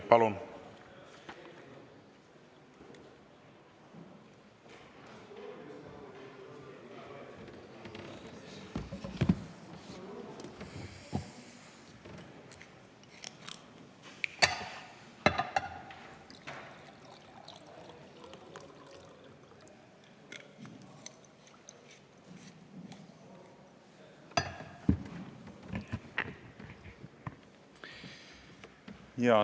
Palun!